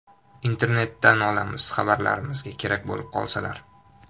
Internetdan olamiz xabarlarimizga kerak bo‘lib qolsalar.